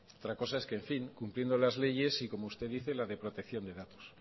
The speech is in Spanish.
otra cosa es que en fin cumpliendo las leyes y como usted dice la de protección de datos